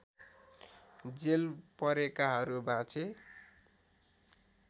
jail परेकाहरू बाँचे